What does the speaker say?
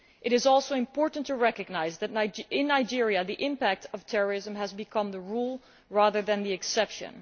It is also important to recognise that in Nigeria the impact of terrorism has become the rule rather than the exception.